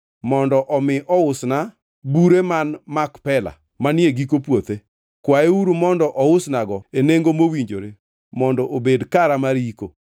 mondo mi ousna bure man Makpela manie giko puothe. Kwayeuru mondo ousnago e nengo mowinjore mondo obed kara mar yiko.”